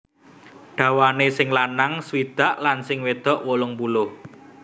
Dawane sing lanang swidak lan sing wedok wolung puluh